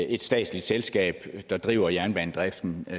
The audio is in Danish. et statsligt selskab der driver jernbanedriften i